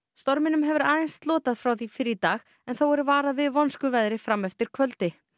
storminum hefur aðeins slotað frá því fyrr í dag en þó er varað við vonskuveðri fram eftir kvöldi